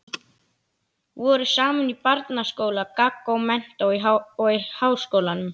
Voru saman í barnaskóla, gaggó, menntó og háskólanum.